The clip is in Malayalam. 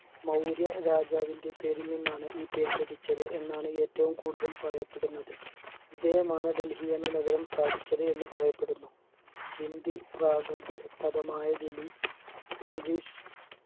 മൗര്യ രാജാവിൻറെ പേരിൽ നിന്നാണ് ഈ പേര് ലഭിച്ചത് എന്നാണ് ഏറ്റവും കൂടുതൽ പറയപ്പെടുന്നത് ഇദ്ദേഹമാണ് ഡെൽഹി എന്ന നഗരം സ്ഥാപിച്ചത് എന്ന് പറയപ്പെടുന്നു ഹിന്ദി പ്രകൃത് പദമായ ദിലി english